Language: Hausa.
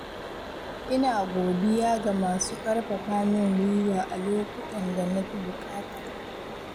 Ina godiya ga masu ƙarfafa min guiwa a lokutan da na fi buƙata.